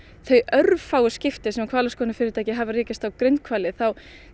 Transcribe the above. þau örfáu skipti sem hvalaskoðunarfyrirtæki hafa rekist á grindhvali þá